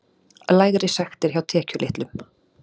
Lægri sektir hjá tekjulitlum